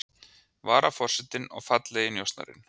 Varaforsetinn og fallegi njósnarinn